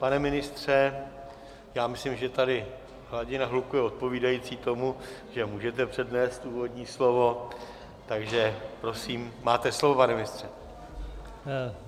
Pane ministře, já myslím, že tady hladina hluku je odpovídající tomu, že můžete přednést úvodní slovo, takže prosím, máte slovo, pane ministře.